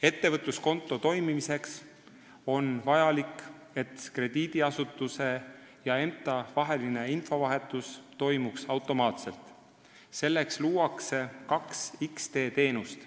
Ettevõtluskonto toimimiseks on vaja, et krediidiasutuse ja EMTA vaheline infovahetus toimuks automaatselt – selleks luuakse kaks X-tee teenust.